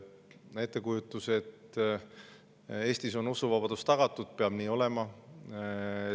On ettekujutus, et Eestis on usuvabadus tagatud, ja nii peab olema.